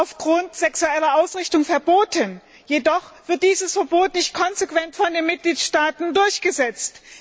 aufgrund der sexuellen Ausrichtung verboten, jedoch wird dieses Verbot nicht konsequent von den Mitgliedstaaten durchgesetzt.